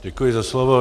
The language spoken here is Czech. Děkuji za slovo.